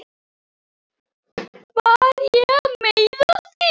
Var ég að meiða þig?